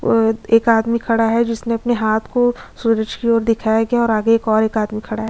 एक आदमी खड़ा है जिसने अपने हाथ को सूरज की ओर दिखाया गया है और आगे और एक आदमी खड़ा है।